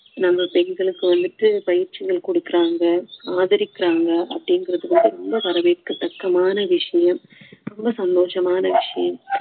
நம்ம பெண்களுக்கு வந்துட்டு பயிற்சிகள் கொடுக்குறாங்க ஆதரிக்குறாங்க அப்படிங்குறது வந்து ரொம்ப வரவேற்கத்தக்கமான விஷயம் ரொம்ப சந்தோஷமான விஷயம்